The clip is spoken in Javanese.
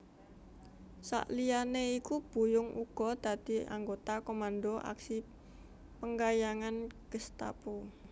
Sakliyane iku Buyung uga dadi anggota Komando Aksi Penggayangan Gestapu